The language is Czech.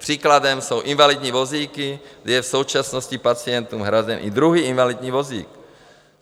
Příkladem jsou invalidní vozíky, kdy je v současnosti pacientům hrazen i druhý invalidní vozík.